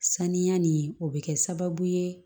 Saniya nin o bɛ kɛ sababu ye